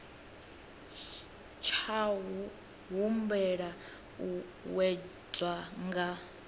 tsha humbela u wedzwa nga